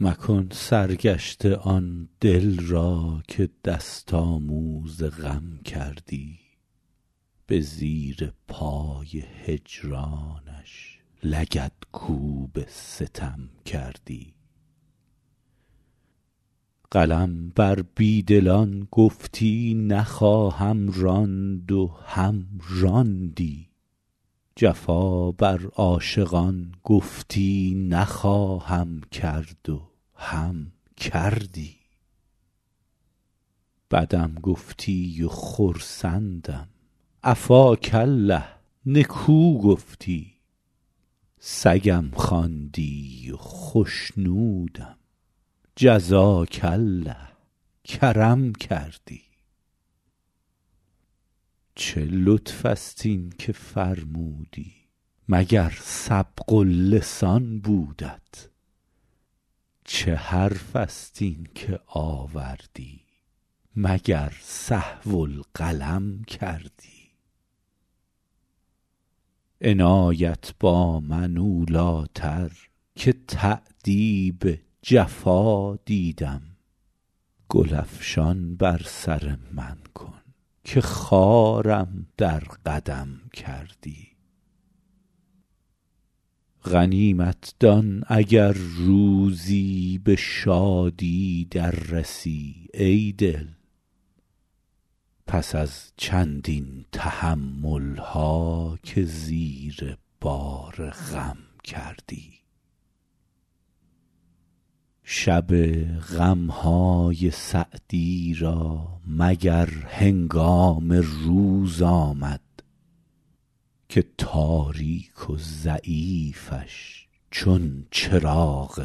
مکن سرگشته آن دل را که دست آموز غم کردی به زیر پای هجرانش لگدکوب ستم کردی قلم بر بی دلان گفتی نخواهم راند و هم راندی جفا بر عاشقان گفتی نخواهم کرد و هم کردی بدم گفتی و خرسندم عفاک الله نکو گفتی سگم خواندی و خشنودم جزاک الله کرم کردی چه لطف است این که فرمودی مگر سبق اللسان بودت چه حرف است این که آوردی مگر سهو القلم کردی عنایت با من اولی تر که تأدیب جفا دیدم گل افشان بر سر من کن که خارم در قدم کردی غنیمت دان اگر روزی به شادی در رسی ای دل پس از چندین تحمل ها که زیر بار غم کردی شب غم های سعدی را مگر هنگام روز آمد که تاریک و ضعیفش چون چراغ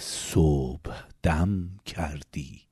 صبحدم کردی